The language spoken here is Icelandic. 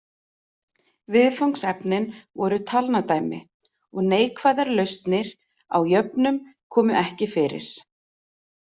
Viðfangsefnin voru talnadæmi og neikvæðar lausnir á jöfnum komu ekki fyrir.